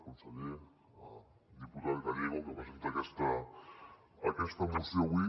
conseller diputat gallego que presenta aquesta moció avui